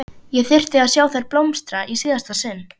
Ég þyrfti að sjá þær blómstra í síðasta sinn.